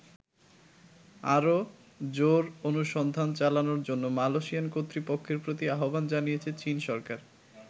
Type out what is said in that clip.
আরো জোর অনুসন্ধান চালানোর জন্য মালয়েশিয়ান কর্তৃপক্ষের প্রতি আহ্বান জানিয়েছে চীন সরকার।